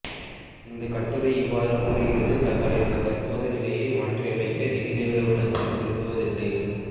இந்தக் கட்டுரை இவ்வாறு கூறுகிறது தங்களது தற்போதைய நிலையை மாற்றியமைக்க நிதி நிறுவனங்கள் விரும்புவதில்லை